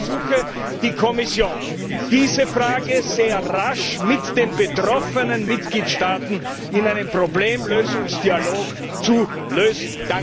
Ich ersuche die Kommission, diese Frage sehr rasch mit den betroffenen Mitgliedstaaten in einem Problemlösungsdialog zu lösen.